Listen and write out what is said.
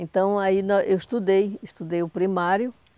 Então, aí eu estudei, estudei o primário.